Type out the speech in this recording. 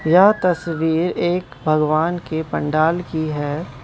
यह तस्वीर एक भगवान के पंडाल की है।